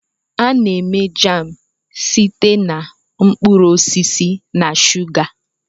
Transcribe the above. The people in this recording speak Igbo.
A na-eme jam site na mkpụrụ osisi na shuga.